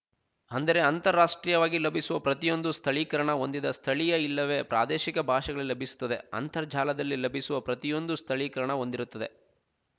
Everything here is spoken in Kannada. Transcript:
ಅಂದರೆ ಅಂತಾರಾಷ್ಟ್ರೀಯವಾಗಿ ಲಭಿಸುವ ಪ್ರತಿಯೊಂದು ಸ್ಥಳೀಕರಣ ಹೊಂದಿದ ಸ್ಥಳೀಯ ಇಲ್ಲವೆ ಪ್ರಾದೇಶಿಕ ಭಾಷೆಗಳಲ್ಲಿ ಲಭಿಸುತ್ತವೆ ಅಂತರ್ಜಾಲದಲ್ಲಿ ಲಭಿಸುವ ಪ್ರತಿಯೊಂದು ಸ್ಥಳೀಕರಣ ಹೊಂದಿರುತ್ತದೆ